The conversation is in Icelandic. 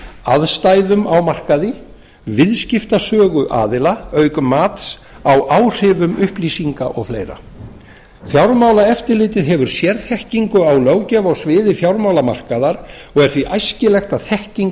aðstæðum á markaði viðskiptasögu aðila auk mats á áhrifum upplýsinga og fleiri fjármálaeftirlitið hefur sérþekkingu á löggjöf á sviði fjármálamarkaðar og er því æskilegt að þekking